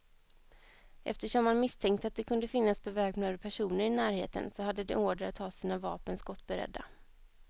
Eftersom man misstänkte att det kunde finnas beväpnade personer i närheten, så hade de order att ha sina vapen skottberedda.